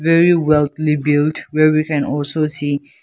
there is walkly built where we can also see.